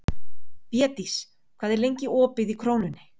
Védís, hvað er lengi opið í Krónunni?